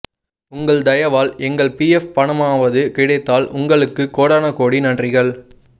உங்கள் தயவால் எங்கள் பிஎஃப் பணமாவது கிடைத்தால் உங்களுக்கு கோடான கோடி நன்றிகள்